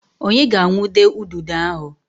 Onye ga-awundo ududo ahụ?